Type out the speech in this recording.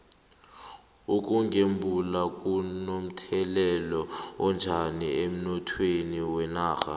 ukugembula kuno mthelela onjani emnothweni wenarha